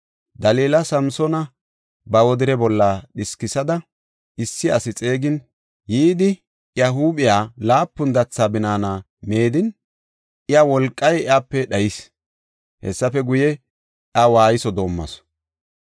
Dalila Samsoona ba wodire bolla dhiskisada issi asi xeegin yidi, iya huuphiya laapun datha binaana meedin iya wolqay iyape dhayis. Hessafe guye, iya waayso doomasu.